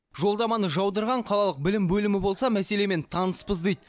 жолдаманы жаудырған қалалық білім бөлімі болса мәселемен таныспыз дейді